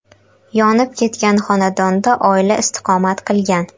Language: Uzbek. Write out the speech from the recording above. Yonib ketgan xonadonda oila istiqomat qilgan.